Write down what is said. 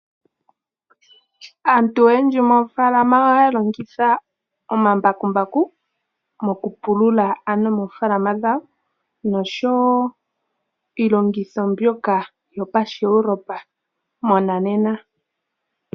Aantu oyendji moofaalama ohaya longitha omambakumbaku mokupulula ano moofaalama dhawo nosho wo iilongitho mbyoka yopashiEuropa monanena.